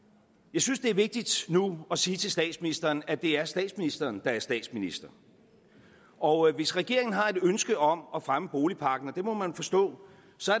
jeg synes det er vigtigt nu at sige til statsministeren at det er statsministeren der er statsminister og hvis regeringen har et ønske om at fremme boligpakken og det må man forstå